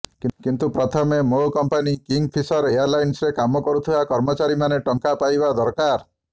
କିନ୍ତୁ ପ୍ରଥମେ ମୋ କମ୍ପାନୀ କିଙ୍ଗଫିଶର ଏୟାରଲାଇନ୍ସରେ କାମ କରୁଥିବା କର୍ମଚାରୀମାନେ ଟଙ୍କା ପାଇବା ଦରକାର